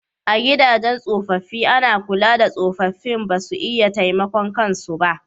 A gidajen tsofaffi ana kula da tsofaffin ba su iya taimakon kan su ba